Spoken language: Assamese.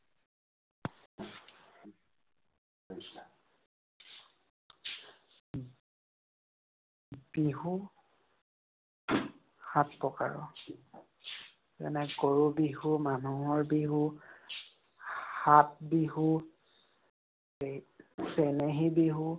বিহু সাত প্ৰকাৰৰ, যেনে গৰু বিহু, মানুহৰ বিহু, ফাঁট বিহু, এৰ চেনেহী বিহু,